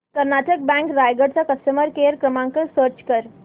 Karnataka bank Raigad चा customer care क्रमांक search कर